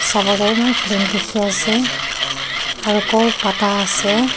Amar ke eman clean ke dekhi ase aru koul patta ase.